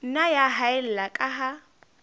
nna ya haella ka ha